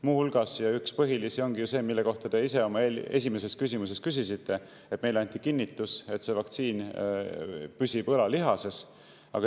Muu hulgas üks põhilisi ongi see, mille kohta te ise oma esimeses küsimuses küsisite, et meile anti kinnitus, et see vaktsiin püsib õlalihases.